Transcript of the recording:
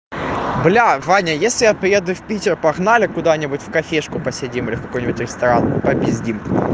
блядь ваня если я приеду в питер погнали куда-нибудь в кафешку посидим или в какой-нибудь ресторан попиздим